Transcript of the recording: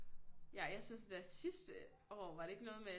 Ja jeg synes der sidste år var det ikke noget med